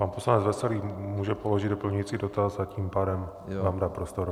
Pan poslanec Veselý může položit doplňující dotaz a tím pádem vám dá prostor.